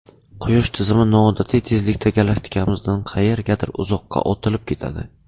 Quyosh tizimi noodatiy tezlikda galaktikamizdan qayergadir uzoqqa otilib ketadi.